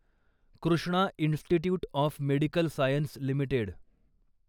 Krishna institute of medical science limited